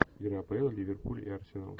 лига апл ливерпуль и арсенал